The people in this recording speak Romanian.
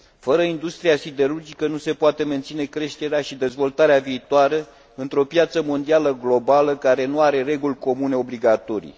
Fără industria siderurgică nu se poate menține creșterea și dezvoltarea viitoare într o piață mondială globală care nu are reguli comune obligatorii.